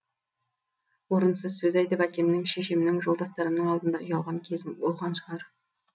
орынсыз сөз айтып әкемнің шешемнің жолдастарымның алдында ұялған кезім болған шығар